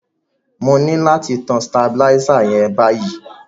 Mo ni láti tan stabilizer yen báyíí